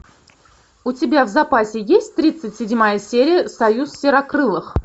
у тебя в запасе есть тридцать седьмая серия союз серокрылых